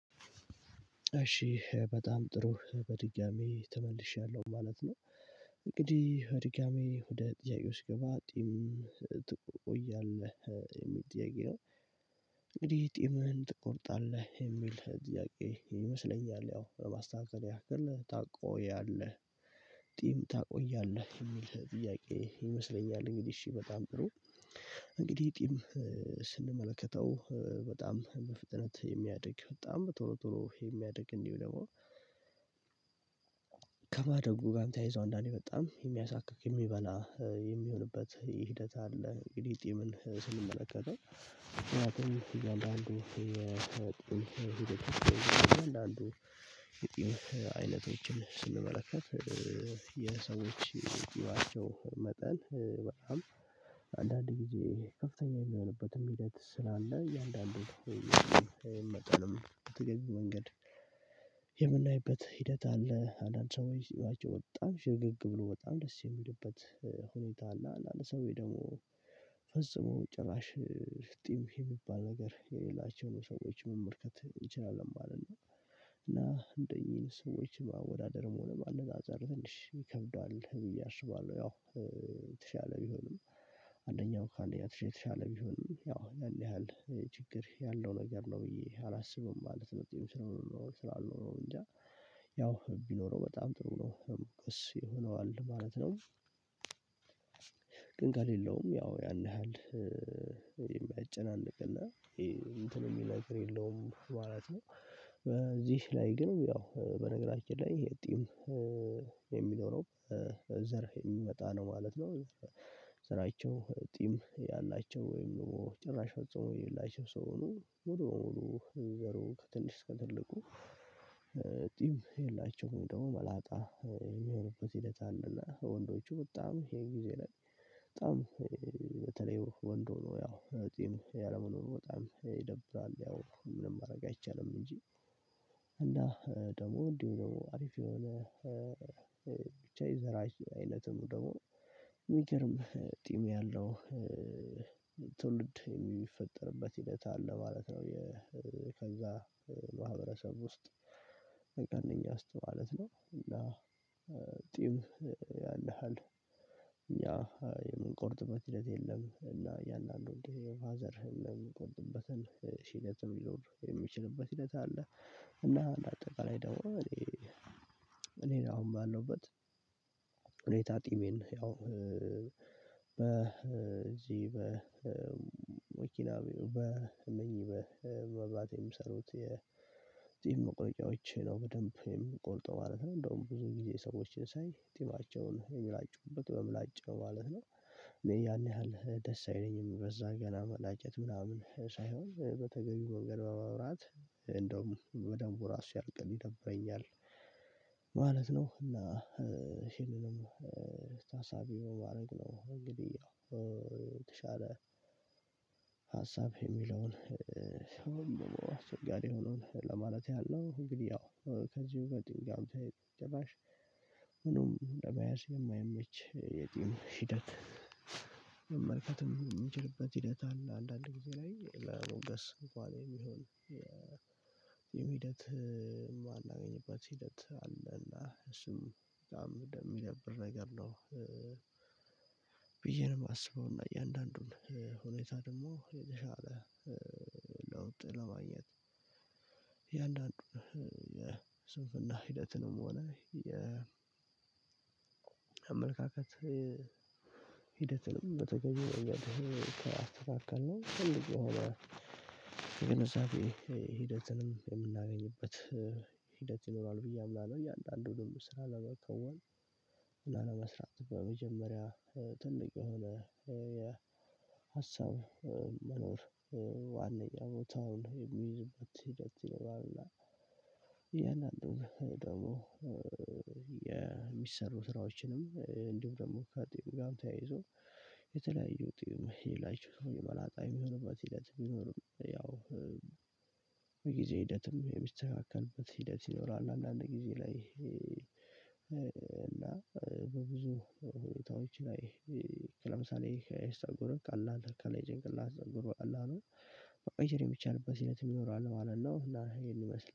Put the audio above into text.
እሺ በጣም ጥሩ በድጋሚ ተመልሼያለሁ ማለት ነው። እንግዲህ ድጋሚ ወደ ጥያቄዎች ስገባ። ጥያቄ ነው። እንግዲህ ጢምህን ትቆርጣለህ የሚል ጥያቄ ይመስለኛል ያው ለማስተካከል ያክል ታቆያለህ ጢም ታቆያለህ የሚል ጥያቄ ይመስለኛል እንግዲህ እሺ በጣም ጥሩ። እንግዲህ ጢም ስንመለከተው በጣም በፍጥነት የሚያድግ በጣም ቶሎ ቶሎ የሚያድግ እንዲሁም ደግሞ ከማደጉ ጋር ተያይዞ አንዳንዴ በጣም የሚያሳካክ የሚበላ የሚሆንበት ሂደት አለ። እንግዲህ ጢምን ስንመለከተው። አንዳንዱ የጥንት አይነቶችን ስንመለከት የሰዎች ጥበቃቸው መጠን በጣም አንዳንድ ጊዜ ከፍተኛ የሚሆንበትም ሂደት ስላለ እያንዳንዱን መጠንም በተገቢው መንገድ የምናይበት ሂደት አለ። አንዳንድ ሰዎች ፂማቸው በጣም ሽርግግ ብሎ በጣም ደስ የሚልበት ሁኔታ አለ። አንዳንድ ሰዎች ደግሞ ፈጽሞ ጭራሽ ፍጥኝ የሚባል ነገር የሌላቸውን ሰዎች መመልከት እንችላለን ማለት ነው። እና እንደኚህ ሰዎች ማወዳደርም ሆነ ማነጻጸር ትንሽ ይከብዳል ብዬ አስባለሁ ያው። የተሻለ ቢሆንም አንደኛው ከአንደኛ የተሻለ ቢሆንም ያው ያንያህል ችግር ያለው ነገር ነው ብዬ አላስብም። ማለት መጥቼም ስለሆነ ነው ጺም አልኖረው ያው ቢኖረው በጣም ጥሩ ነው እሱ ይሆነዋል ማለት ነው። ግን ከሌለውም ያው ያን ያህል የሚያጨናንቅልን እንትን የሚልብ ነገር የለውም ማለት ነው። በዚህ ላይ ግን ያው በነገራችን ላይ ይሄ ጢም የሚለው ነው ዘር የሚመጣ ነው ማለት ነው። ዘራቸው ጢም ያላቸው ወይም ደግሞ ጭራሽ ፈጽሞ የላቸው ሰው ሆኖ ሙሉ በሙሉ ዘሩ ከትንሽ ከትልቁ ቲም የላቸውም ደግሞ መላጣ የሚሆንበት ሂደት አለ። ወንዶቹ በጣም ይሄ ጊዜ ላይ በጣም በተለይ ወንድ ሆኖ ያው ጤም ያለመኖር በጣም ይደብራል ያው ምንም ማድረግ አይቻልም እንጂ። እና ደግሞ እንዲህ ብሎ አሪፍ የሆነ ይዘራችን አይነቱን ደግሞ የሚገርም ጢም ያለው የሚፈጠርበት ሂደት አለ ማለት ነው። ከዛ ማህበረሰብ ውስጥ በቀነኛ አስተማማት ነው እና። ጢም ያንያሃል እኛ የምንቆርጥበት ሂደት የለም እና ያንን አለው እንዴ ፋዘርህን ለምንቆርጥበት እለትም ይኖር የሚችልበት እለት አለ። እና አጠቃላይ ደሞ እኔ እኔ አሁን ባለውበት እኔ ጢሜን ያው በዚህ በ በወኪላ በመኝ በባትሪ የሚሰሩት የጺም መቁረጫዎች ነው በደንብ የሚቆርጠው ማለት ነው። እንደውም ብዙ ጊዜ ሰዎችን ሳይ ጢማቸውን የሚላጩበት በምላጭ ነው ማለት ነው። እኔ ያን ያህል ደስ አይለኝም በዛ ገና መላጨት ምናምን ሳይሆን በተገቢው መንገ በመብራት እንደውም በደንቡ ራሱ ያሲያል ይደብረኛል። ማለት ነው እና ሼር ደግሞ ታሳቢው ማድረግ ነው። እንግዲህ ያው የተሻለ ሀሳብ የሚለውን ወይም ደሞ አስቸጋሪ የሆኑን ለማለት ያለው እንግዲህ ያው ከዚህ በጥንቃቄ ጭራሽ ምንም ለመያዝ የማያመች የጢም ሂደት መመልከትም የሚችልበት ሂደት አለ። አንዳንድ ጊዜ ላይ ለሞገስ እንኳን የሚሆን የሂደት ማንአገኘበት ሂደት አለ እና እሱም በጣም የሚነብር ነገር ነው። ብዬ ነው የማስበው እና እያንዳንዱን ሁኔታ ደግሞ የተሻለ ለውጥ ለማግኘት እያንዳንዱን የስንፍና ሂደትንም ሆነ የ አመለካከት በተገኘው ከአስተካከልነው ነው ትልቅ የሆነ የገነዛቤ ሂደትንም የምናገኝበት ሂደት ይኖራል ብዬ አምናለሁ። እያንዳንዱን ስራ ለመከወን ለመስራት በመጀመሪያ ትልቅ የሆነ የሀሳብ መኖር ዋና የቦታውን የሚይዝበት ሂደት ይለዋልና። ደግሞ የሚሰሩ ስራዎችንም እንዲሁ ደግሞ ከጢም ጋር ተያይዞ የተለያዩ ጢም ሌላቸው ሰው የመላጣ የሚሆንበት እለት ቢኖርም ያው በጊዜ ሂደትም የሚስተካከልበት ሂደት ይኖራል። አንዳንድ ጊዜ ላይ በብዙ ሁኔታዎች ላይ ለምሳሌ አይሰጎርም ካለ አለ ካለ ይጨንቅላት ዘጎር በቃላኑ በቆይቼ ብቻ አልበስለትም ይኖራል ማለት ነው። እና ይሄን ይመስላል